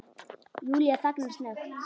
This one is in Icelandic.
Júlía þagnar snöggt.